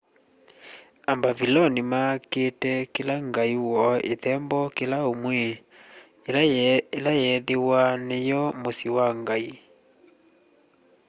ambaviloni makiite kila ngai woo ithembo kila umwi ila yeethiwa niwo musyi wa ngai